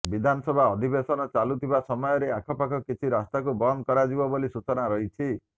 ବିଧାନସଭା ଅଧିବେଶନ ଚାଲୁଥିବା ସମୟରେ ଆଖପାଖ କିଛି ରାସ୍ତାକୁ ବନ୍ଦ କରାଯିବ ବୋଲି ସୂଚନା ରହିଛି